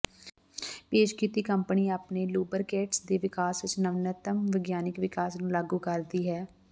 ਪੇਸ਼ ਕੀਤੀ ਕੰਪਨੀ ਆਪਣੇ ਲੂਬਰਿਕੈਂਟਸ ਦੇ ਵਿਕਾਸ ਵਿੱਚ ਨਵੀਨਤਮ ਵਿਗਿਆਨਕ ਵਿਕਾਸ ਨੂੰ ਲਾਗੂ ਕਰਦੀ ਹੈ